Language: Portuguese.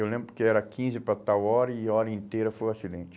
Eu lembro que era quinze para tal hora e a hora inteira foi o acidente.